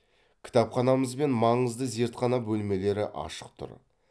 кітапханамыз бен маңызды зертхана бөлмелері ашық тұр